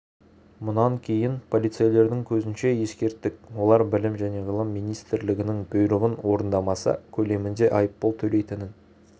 мұнан кейін полицейлердің көзінше ескерттік олар білім және ғылым министрлігінің бұйрығын орындамаса көлемінде айыппұл төлейтінін